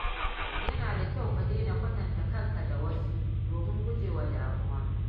Yana da kyau ka daina kwatanta kanka da wasu domin gujewa damuwa.